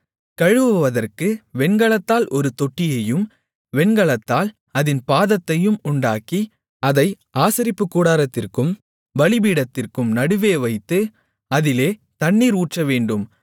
கழுவுவதற்கு வெண்கலத்தால் ஒரு தொட்டியையும் வெண்கலத்தால் அதின் பாதத்தையும் உண்டாக்கி அதை ஆசரிப்புக்கூடாரத்திற்கும் பலிபீடத்திற்கும் நடுவே வைத்து அதிலே தண்ணீர் ஊற்றவேண்டும்